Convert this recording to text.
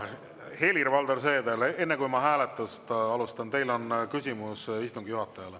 Helir-Valdor Seeder, enne kui ma hääletust alustan, teil on küsimus istungi juhatajale.